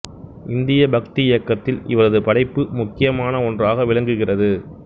இந்திய பக்தி இயக்கத்தில் இவரது படைப்பு முக்கியமானன ஒன்றாக விளங்குகிறது